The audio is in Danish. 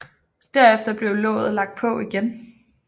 Derefter blev låget lagt på igen